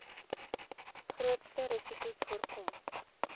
grootste risikos voorkom